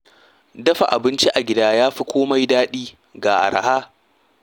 Dafa abinci a gida ya fi komai daɗi ga arha.